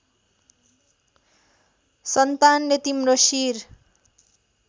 सन्तानले तिम्रो शिर